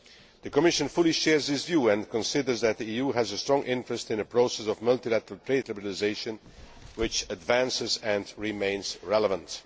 The Commission fully shares this view, and considers that the EU has a strong interest in a process of multilateral trade liberalisation which advances and remains relevant.